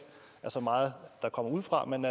er så meget der kommer udefra men